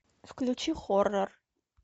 включи хоррор